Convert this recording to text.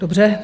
Dobře.